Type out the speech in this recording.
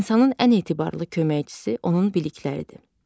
İnsanın ən etibarlı köməkçisi onun bilikləridir.